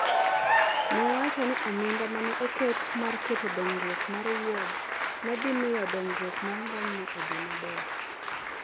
nowacho ni omenda ma ne oket mar keto dongruok mar Wuod ne dhi miyo dongruok mar ng’omno odhi maber.